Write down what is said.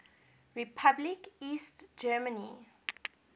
republic east germany